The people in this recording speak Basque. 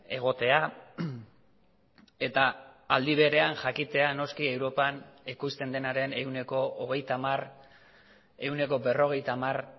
egotea eta aldi berean jakitea noski europan ekoizten denaren ehuneko hogeita hamar ehuneko berrogeita hamar